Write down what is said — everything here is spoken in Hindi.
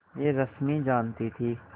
यह रश्मि जानती थी